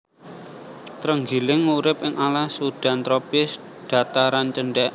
Trenggiling urip ing alas udan tropis dhataran cendhèk